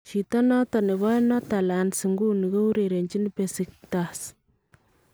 Chito noton nebo Norterlands inguuni kourerenchin Besiktas